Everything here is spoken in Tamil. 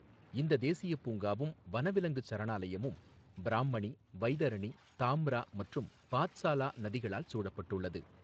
இந்தத் தேசியப் பூங்காவும் வனவிலங்குச் சரணாலயமும் பிராம்மணி, வைதரணி, தாம்ரா மற்றும் பாத்சாலா நதிகளால் சூழப்பட்டுள்ளது.